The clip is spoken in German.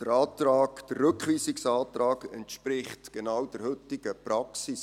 Der Rückweisungsantrag entspricht genau der heutigen Praxis.